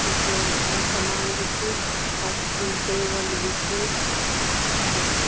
कुछ घारक सामान भी च और टेबल भी च और --